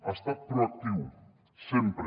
ha estat proactiu sempre